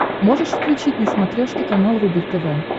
можешь включить на смотрешке канал рубль тв